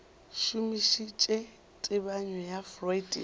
šomišitše tebanyo ya freud ya